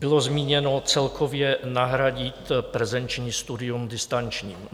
Bylo zmíněno celkově nahradit prezenční studium distančním.